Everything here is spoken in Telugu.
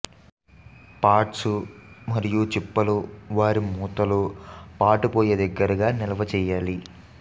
పాట్స్ మరియు చిప్పలు వారి మూతలు పాటు పొయ్యి దగ్గరగా నిల్వ చేయాలి